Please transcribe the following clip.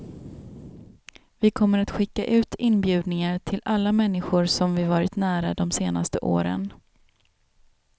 Vi kommer att skicka ut inbjudningar till alla människor som vi varit nära de senaste åren.